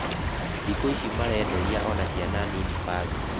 Thiku ici marederia ona ciana nini mbangi